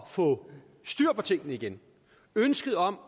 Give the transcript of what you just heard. få styr på tingene igen ønsket om